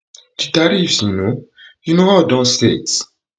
di tariffs you know you know all don set